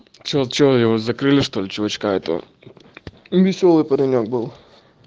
че че его закрылись что ли чувачка этого весёлый паренёк был